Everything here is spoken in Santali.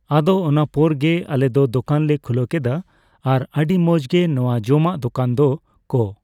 ᱟᱫᱚ ᱚᱱᱟ ᱯᱚᱨ ᱜᱮ ᱟᱞᱮ ᱫᱚ ᱫᱚᱠᱟᱱ ᱞᱮ ᱠᱷᱩᱞᱟᱹᱣ ᱠᱮᱫ ᱼᱟ ᱾ᱟᱨ ᱟᱹᱰᱤ ᱢᱚᱸᱡᱽ ᱜᱮ ᱱᱚᱣᱟ ᱡᱚᱢᱟᱜ ᱫᱚᱠᱟᱱ ᱫᱚ ᱠᱚ